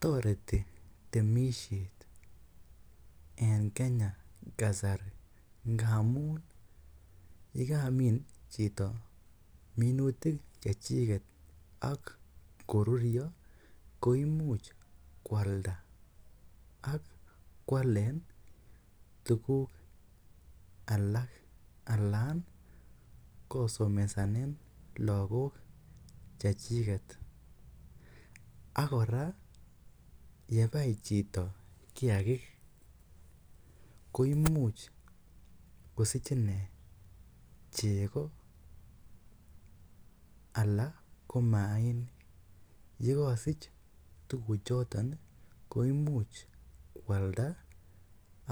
Toreti temisiet en Kenya kasari. Ngamun ye kamin chito minutik chechiget ak ko ruryo koimuch koalda ak koalen tuguk alak alan kosomesanen lagok chechiget ak kora ye bai chito kiyagik koimuch kosich inee chego anan ko maainik. Ye kosich tuguchoto koimuch koalda